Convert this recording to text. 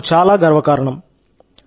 ఇది నాకు చాలా గర్వకారణం